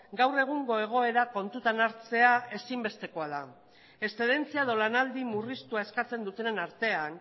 gaur egungo egoera kontutan hartzea ezinbestekoa da eszedentzia edo lanaldi murriztua eskatzen dutenen artean